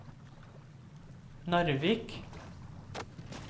Narvik